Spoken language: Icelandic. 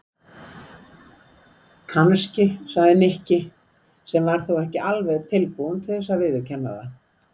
Kannski sagði Nikki sem var þó ekki alveg tilbúinn til þess að viðurkenna það.